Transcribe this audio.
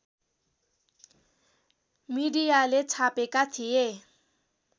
मिडियाले छापेका थिए